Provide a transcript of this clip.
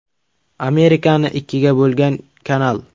Amerikani ikkiga bo‘lgan kanal.